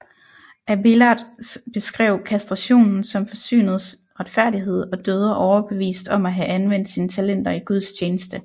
Abélard beskrev kastrationen som forsynets retfærdighed og døde overbevist om at have anvendt sine talenter i Guds tjeneste